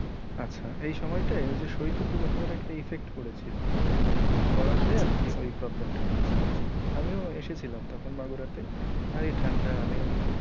আচ্ছা এই সময়টায় ওই যে সৈত প্রবাহআবহাওয়ার একটা effect পড়েছিলো পড়াতে আরকি ওই problem টা হয়েছিলো জি, আমিও এসেছিলাম তখন বাগুরা তে আর এই ঠাণ্ডা আমি,